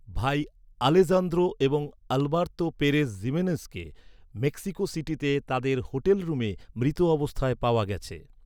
ভাই আলেজান্দ্রো এবং Alberto Perez জিমেনেজকে মেক্সিকো সিটিতে তাদের হোটেল রুমে মৃত অবস্থায় পাওয়া গেছে।